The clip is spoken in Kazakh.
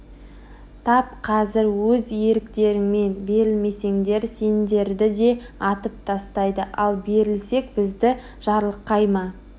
тап қазір өз еріктеріңмен берілмесеңдер сендерді де атып тастайды ал берілсек бізді жарылқай ма